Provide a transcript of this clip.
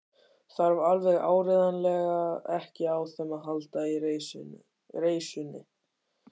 Þarf alveg áreiðanlega ekki á þeim að halda í reisunni.